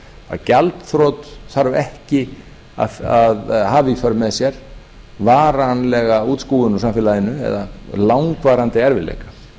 að gjaldþrot þarf ekki að hafa í för með sér varanlega útskúfun úr samfélaginu eða langvarandi erfiðleika